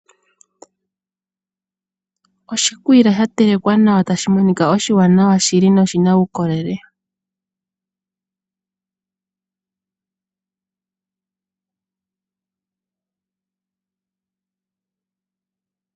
Oshikwiila shatelekwa nawa tashi monika oshiwanawa shili noshina uukolele.